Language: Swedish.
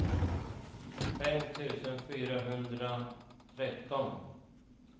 fem tusen fyrahundratretton